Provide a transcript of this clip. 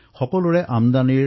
মই তেওঁৰ ভাৱনা বুজি পাইছো